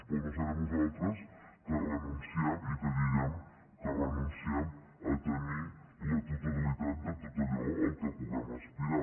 però no serem nosaltres els que renunciem i que diguem que renunciem a tenir la totalitat de tot allò a què puguem aspirar